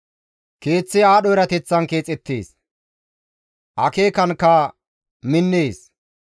Keeththi aadho erateththan keexettees; akeekankka minnees.